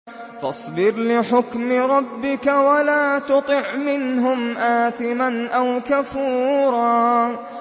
فَاصْبِرْ لِحُكْمِ رَبِّكَ وَلَا تُطِعْ مِنْهُمْ آثِمًا أَوْ كَفُورًا